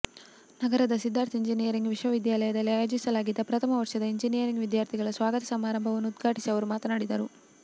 ನಗರದ ಸಿದ್ಧಾರ್ಥ ಎಂಜಿನಿಯರಿಂಗ್ ವಿದ್ಯಾಲಯದಲ್ಲಿ ಆಯೋಜಿಸಲಾಗಿದ್ದ ಪ್ರಥಮ ವರ್ಷದ ಎಂಜಿನಿಯರಿಂಗ್ ವಿದ್ಯಾರ್ಥಿಗಳ ಸ್ವಾಗತ ಸಮಾರಂಭವನ್ನು ಉದ್ಘಾಟಿಸಿ ಅವರು ಮಾತನಾಡಿದರು